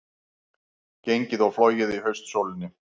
Gengið og flogið í haustsólinni